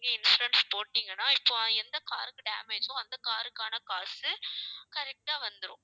நீங்க insurance போட்டீங்கன்னா இப்ப எந்த car க்கு damage ஓ அந்த car க்கான காசு correct ஆ வந்துரும்